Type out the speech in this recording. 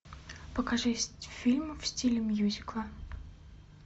покажи фильм в стиле мюзикла